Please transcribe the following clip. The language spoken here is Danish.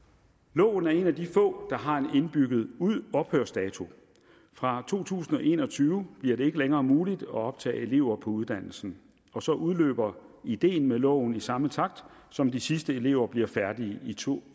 loven er en af de få der har en indbygget ophørsdato fra to tusind og en og tyve bliver det ikke længere muligt at optage elever på uddannelsen og så udløber ideen med loven i samme takt som de sidste elever bliver færdige i to